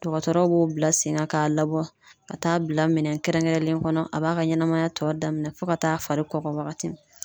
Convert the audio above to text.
Dɔgɔtɔrɔw b'o bila sen kan k'a labɔ ka taa bila minɛn kɛrɛnkɛrɛnlen kɔnɔ a b'a ka ɲɛnamaya tɔ daminɛ fo ka taa fari kɔgɔ wagati min na.